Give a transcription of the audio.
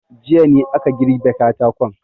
Jiya ne aka girbe katakon.